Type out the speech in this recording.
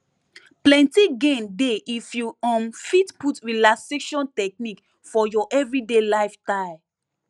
plenty gain dey if you um fit put relaxation technique for your everyday lifestyle